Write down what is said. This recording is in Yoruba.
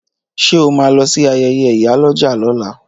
Ṣé o máa lọ sí ayẹyẹ ìyálọ́jà lọ́la